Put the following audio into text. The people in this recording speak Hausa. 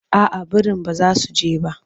Aa birin ba za su je ba.